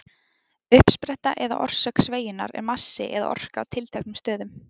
Uppspretta eða orsök sveigjunnar er massi eða orka á tilteknum stöðum.